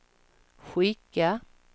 skicka